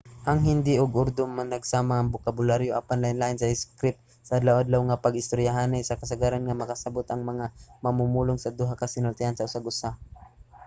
ang hindi ug urdu managsama sa bokabularyo apan lainlain sa iskrip; sa adlaw-adlaw nga pag-istoryahanay kasagaran nga makasabot ang mga mamumulong sa duha ka sinultian sa usag usa